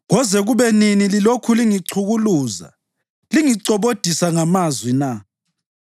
“Koze kube nini lilokhu lingichukuluza, lingicobodisa ngamazwi na?